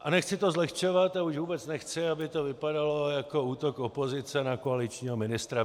A nechci to zlehčovat, a už vůbec nechci, aby to vypadalo jako útok opozice na koaličního ministra.